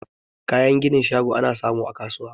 Kayan ginin shago ana samu a kasuwa